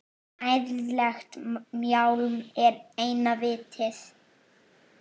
Ærlegt mjálm er eina vitið.